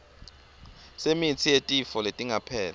semitsi yetifo letingapheli